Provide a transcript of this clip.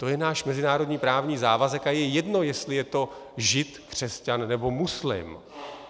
To je náš mezinárodní právní závazek a je jedno, jestli je to žid, křesťan anebo muslim.